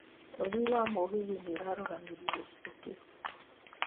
ũthii wa mũgithi nĩũrarũgamirio gĩcigo kĩu.